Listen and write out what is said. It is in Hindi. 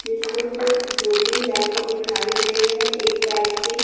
जिसमें से दो तीन व्यक्ति दिखाई दे रहे हैं एक व्यक्ति--